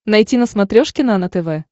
найти на смотрешке нано тв